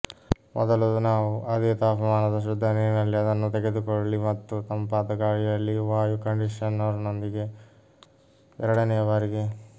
ಮೊದಲು ನಾವು ಅದೇ ತಾಪಮಾನದ ಶುದ್ಧ ನೀರಿನಲ್ಲಿ ಅದನ್ನು ತೊಳೆದುಕೊಳ್ಳಿ ಮತ್ತು ತಂಪಾದ ಗಾಳಿಯಲ್ಲಿ ವಾಯು ಕಂಡಿಷನರ್ನೊಂದಿಗೆ ಎರಡನೆಯ ಬಾರಿಗೆ